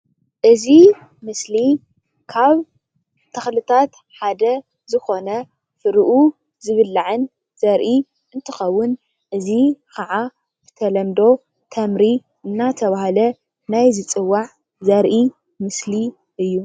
እዚ ምስሊ ካብ ተክልታት ሓደ ዝኮነ ፍሪኡ ዝብላዕን ዘርኢ እንትከውን እዚ ከዓ ብተለምዶ ተምሪ እናተብሃለ ናይ ዝፅዋዕ ዘርኢ ምስሊ እዩ።